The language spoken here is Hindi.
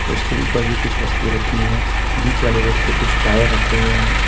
उसके ऊपर कुछ वस्तुए रखी हुई है बिच वाले में कुछ टायर रखे हुए हैं।